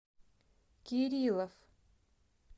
кириллов